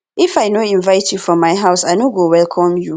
if i no invite you for my house i no go welcome you